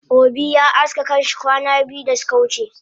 Obi ya aske kanshi kwana biyu dasuka wuce